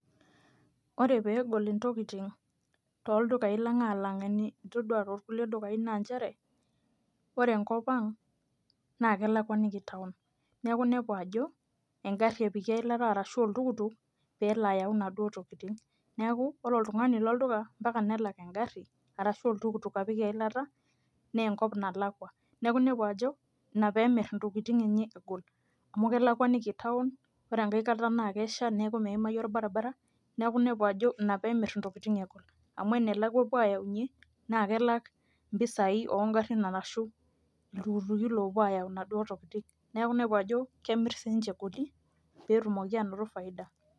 ore pee egol intokitin, tooldukai lang, alang eni itodua too kulie dukai naa nchere, ore enkop ang naa kelakuaniki town neeku inepu ajo, egari epiki eilata rashu oltukutuk pee elo ayau inaduoo tokitin. neku ore oltungani leolduka mpaka nelak egari arashu oltukutuk apik eilata. naa ennkop nalakua. neeku inepu ajo ina pee emir intokitin enye egol. amu kelakuaniki town ore enkae kata naa kesha neeku meyimayu olabaribara. ina pee emir intokitin egol. amu enelakua epuo aaayaunye naa kelak impisai oo garin arashu iltukituki loopuo aayau inaduoo tokitin. neeku inepu ajo kemir sii ninche egoli pee etumoki aanoto faida.